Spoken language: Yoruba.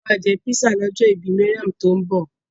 A máa jẹ písà lọ́jọ́ ìbí Mariam tó ń bọ̀.